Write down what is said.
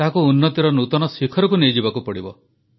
ତାହାକୁ ଉନ୍ନତିର ନୂତନ ଶିଖରକୁ ନେଇଯିବାକୁ ହେବ